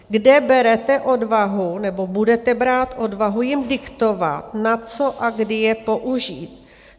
Kde berete odvahu, nebo budete brát odvahu jim diktovat, na co a kdy je použít?